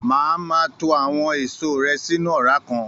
Máa ma to àwọn èso rẹ sínú ọra kan.